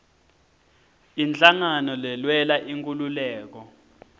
inhlangano lelwela inkhululeko